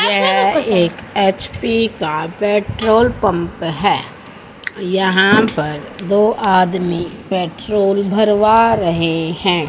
यह एक एच_पी का पेट्रोल पंप है यहां पर दो आदमी पेट्रोल भरवा रहे हैं।